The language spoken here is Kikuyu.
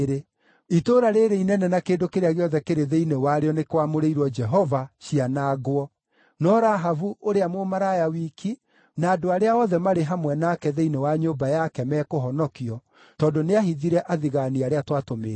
Itũũra rĩĩrĩ inene na kĩndũ kĩrĩa gĩothe kĩrĩ thĩinĩ warĩo nĩikwamũrĩrwo Jehova, cianangwo. No Rahabu ũrĩa mũmaraya wiki, na andũ arĩa othe marĩ hamwe nake thĩinĩ wa nyũmba yake, mekũhonokio, tondũ nĩahithire athigaani arĩa twatũmĩte.